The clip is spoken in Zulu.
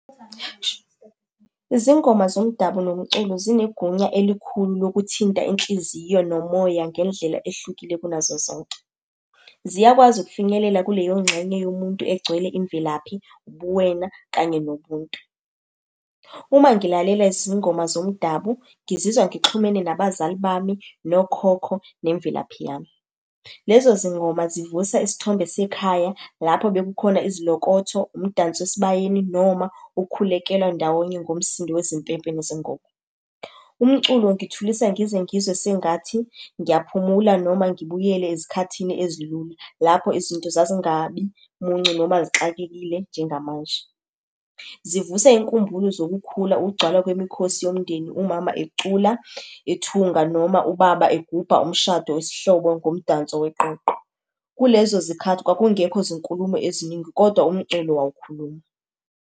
Izingoma zomdabu nomculo zinegunya elikhulu lokuthinta inhliziyo nomoya ngendlela ehlukile kunazo zonke. Ziyakwazi ukufinyelela kuleyo ngxenye yomuntu egcwele imvelaphi, ubuwena kanye nobuntu. Uma ngilalela izingoma zomdabu, ngizizwa ngixhumene nabazali bami, nokhokho, nemvelaphi yami. Lezo zingoma zivusa isithombe sekhaya, lapho bekukhona izilokotho, umdanso esibayeni, noma ukukhulekelwa ndawonye ngomsindo wezimpempe nezingoma. Umculo ungithulisa ngize ngizwe sengathi ngiyaphumula noma ngibuyele ezikhathini ezilula, lapho izinto zazingabi muncu, noma zixakekile njengamanje. Zivusa iy'nkumbulo zokukhula, ukugcwala kwemikhosi yomndeni umama ecula, ethunga, noma ubaba egubha umshado wesihlobo ngomdanso weqoqo. Kulezo zikhathi kwakungekho zinkulumo eziningi, kodwa umculo wawukhuluma.